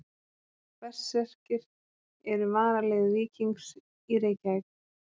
Berserkir eru varalið Víkings í Reykjavík.